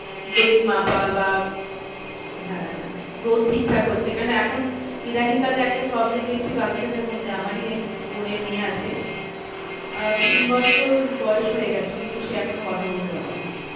Weight মাপা বা হ্যাঁ growth ঠিকঠাক হচ্ছে কেন এখন ইদানিং কালে একটা problem দেখছি বাচ্চাদের মধ্যে আমারই এক বোনের মেয়ে আছে। আহ তিন বছর বয়স হয়ে গেছে কিন্তু সে এখনো কথা বলতে পারছে না।